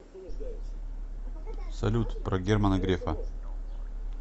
салют про германа грефа